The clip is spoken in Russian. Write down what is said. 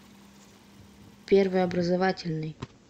первый образовательный